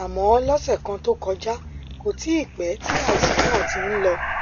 àmọ lọsẹ kan tó kọjá kò tíì pẹ tí àìsàn náà ti ń lọ